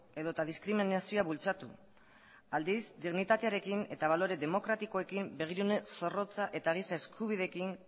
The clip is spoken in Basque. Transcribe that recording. edota diskriminazioa bultzatu aldiz dignitatearekin eta balore demokratikoekin begirune zorrotza eta giza eskubideekin